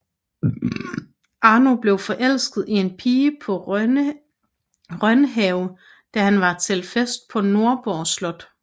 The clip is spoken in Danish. Arno blev forelsket i en pige på Rønhave da han var til fest på Nordborg Slot